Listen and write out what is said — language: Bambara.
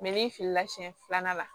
n'i filila siɲɛ filanan la